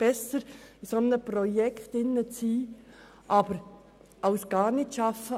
es ist besser, in einem solchen Projekt als gar nicht zu arbeiten.